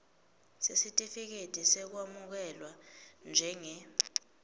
sesitifiketi sekwamukelwa njenge